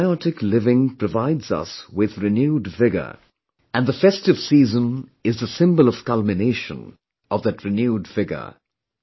Symbiotic living provides us with renewed vigour and the festive season is the symbol of the culmination of that renewed vigour